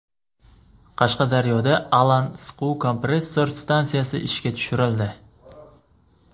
Qashqadaryoda Alan siquv kompressor stansiyasi ishga tushirildi.